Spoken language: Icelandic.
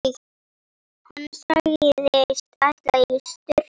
Hann sagðist ætla í sturtu.